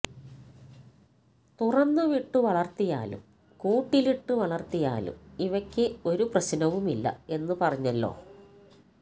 തുറന്നു വിട്ടു വളർത്തിയാലും കൂട്ടിലിട്ടു വളർത്തിയാലും ഇവയ്ക്കു ഒരു പ്രശ്നവുമില്ല എന്ന് പറഞ്ഞല്ലോ